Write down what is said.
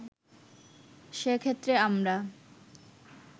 সেক্ষেত্রে আমরা